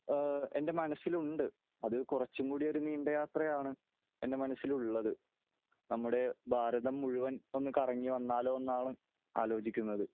എന്റെ മനസ്സിലുണ്ട് . അത് കുറച്ചും കൂടി ഒരു നീണ്ട യാത്ര ആണ് എന്റെ മനസ്സിലുള്ളത് . നമ്മുടെ ഭാരതം മുഴുവൻ ഒന്ന് കറങ്ങി വന്നാലോ എന്നാണ് ആലോചിക്കുന്നത് .